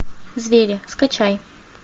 звери скачай